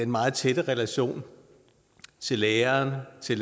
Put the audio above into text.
meget tætte relationer til lærere til